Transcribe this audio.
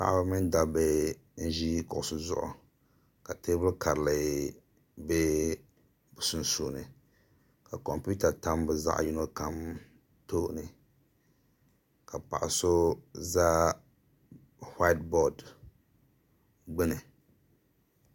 Paɣaba mini dabba n ʒi kuɣusi zuɣu ka teebuli karili bɛ bi sunsuuni ka kompiuta tam bi zaɣ yino kam tooni ka paɣa so ʒɛ whaait bood gbuni